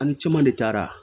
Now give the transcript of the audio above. Ani caman de taara